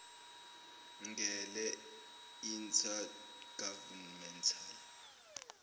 ngele inter governmental